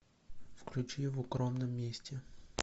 включи в укромном месте